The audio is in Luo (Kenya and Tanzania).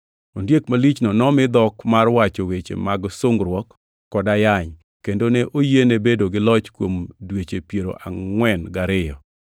Ondiek malichno nomi dhok mar wacho weche mag sungruok kod ayany, kendo ne oyiene bedo gi loch kuom dweche piero angʼwen gariyo.